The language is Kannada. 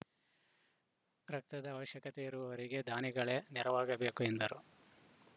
ರಕ್ತದ ಅವಶ್ಯಕತೆ ಇರುವವರಿಗೆ ದಾನಿಗಳೇ ನೆರವಾಗಬೇಕು ಎಂದರು